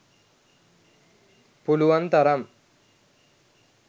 පුළුවන් තරම්